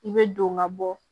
I bɛ don ka bɔ